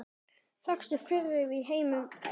Lengstu firðir í heimi eru